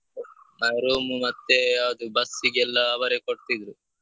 ಆ room ಮತ್ತೇ ಅದು bus ಗೆಲ್ಲಾ ಅವರೇ ಕೊಡ್ತಿದ್ರು.